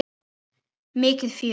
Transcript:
Mikið fjör.